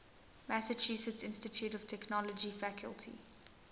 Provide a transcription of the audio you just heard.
massachusetts institute of technology faculty